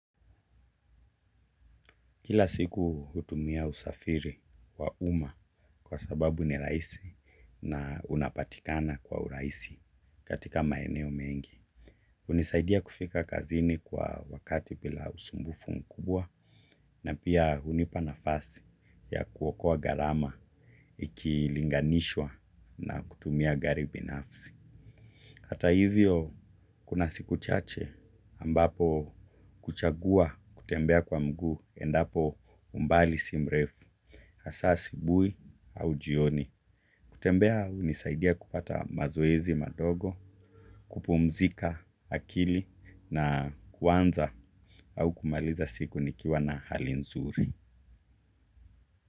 Kila siku hutumia usafiri wa umma kwa sababu ni rahisi na unapatikana kwa urahisi katika maeneo mengi. Hunisaidia kufika kazini kwa wakati bila usumbufu mkubwa na pia hunipa nafasi ya kuokoa gharama ikilinganishwa na kutumia gari binafsi. Hata hivyo kuna siku chache ambapo huchagua kutembea kwa mguu endapo umbali si mrefu, hasa asubuhi au jioni. Kutembea hunisaidia kupata mazoezi madogo, kupumzika akili na kuanza au kumaliza siku nikiwa na hali nzuri.